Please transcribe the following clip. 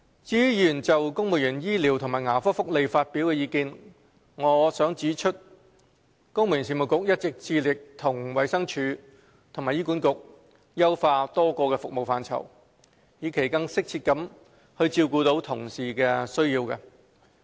至於議員就公務員醫療和牙科福利發表的意見，我想指出，公務員事務局一直致力與衞生署及醫院管理局優化多個服務範疇，以期更適切地照顧同事的需要。